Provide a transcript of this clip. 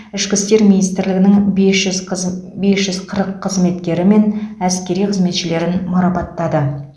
ішкі істер министрлігінің бес жүз қыз бес жүз қырық қызметкері мен әскери қызметшілерін марапаттады